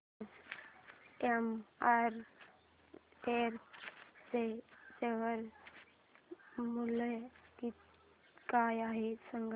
आज एमआरएफ चे शेअर मूल्य काय आहे सांगा